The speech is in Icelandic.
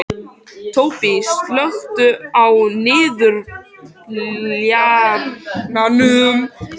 Tóbý, slökktu á niðurteljaranum.